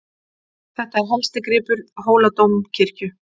Þetta er helsti gripur Hóladómkirkju.